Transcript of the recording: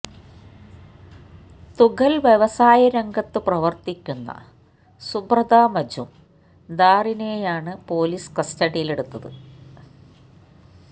തുകല് വ്യവസായ രംഗത്തു പ്രവര്ത്തിക്കുന്ന സുബ്രത മജുംദാറിനെയാണ് പോലീസ് കസ്റ്റഡിയിലെടുത്തത്